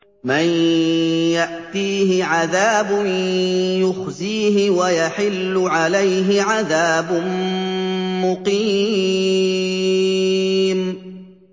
مَن يَأْتِيهِ عَذَابٌ يُخْزِيهِ وَيَحِلُّ عَلَيْهِ عَذَابٌ مُّقِيمٌ